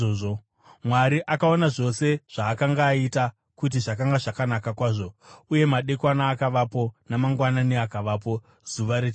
Mwari akaona zvose zvaakanga aita, kuti zvakanga zvakanaka kwazvo. Uye madekwana akavapo, namangwanani akavapo, zuva rechitanhatu.